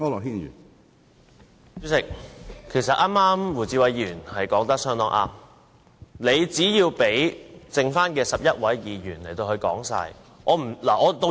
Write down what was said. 主席，其實剛才胡志偉議員說得很對，你只需讓餘下的11位議員完成發言。